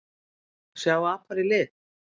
sjá apar í lit